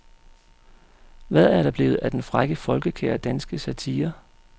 Hvad er der blevet af den frække folkekære danske satire.